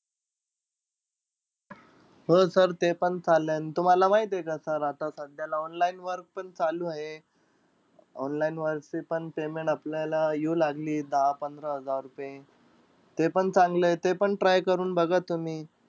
हो sir ते पण चालेन. तुम्हाला माहितीय का sir आता सध्याला online work पण चालू आहे. Online वरती पण payment आपल्याला येऊ लागलीय दहा-पंधरा हजार रुपये. ते पण चांगलंय ते पण try करून बघा तुम्ही.